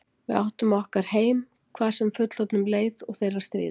Við áttum okkar heim, hvað sem fullorðnum leið og þeirra stríði.